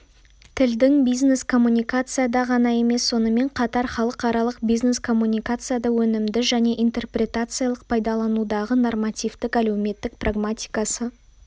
тілдің бизнес-коммуникацияда ғана емес сонымен қатар халықаралық бизнес-коммуникацияда өнімді және интерпретациялық пайдаланудағы нормативтік әлеуметтік прагматикасы